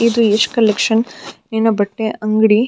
ಇದು ಈಷ್ ಕಲೆಕ್ಷನ್ ಎನೊ ಬಟ್ಟೆ ಅಂಗಡಿ.